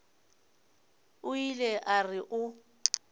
o ile a re o